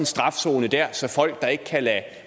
strafzone der så folk der ikke kan lade